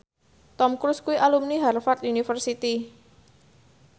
Tom Cruise kuwi alumni Harvard university